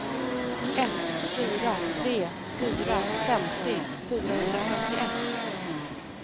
ett fyra tre fyra femtio fyrahundrafemtioett